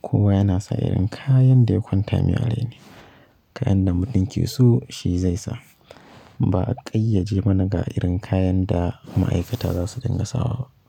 Kowa yana sa irin kayan da ya kwanta mai a rai ne. Kayan da mutum ke so shi zai sa. Ba a ƙayyade mana ga irin kayan da ma'aikata za su dinga sawa ba.